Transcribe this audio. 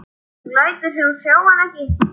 Hún lætur sem hún sjái hann ekki.